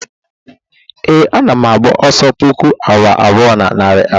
ee, ana m agba ọsọ puku awa abụọ na narị abụọ